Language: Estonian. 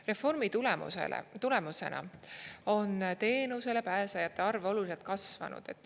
Reformi tulemusena on teenusele pääsejate arv oluliselt kasvanud.